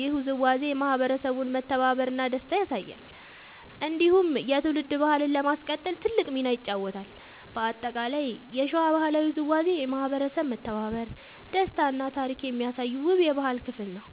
ይህ ውዝዋዜ የማህበረሰቡን መተባበር እና ደስታ ያሳያል። እንዲሁም የትውልድ ባህልን ለማስቀጠል ትልቅ ሚና ይጫወታል። በአጠቃላይ የሸዋ ባህላዊ ውዝዋዜ የማህበረሰብ መተባበር፣ ደስታ እና ታሪክ የሚያሳይ ውብ የባህል ክፍል ነው።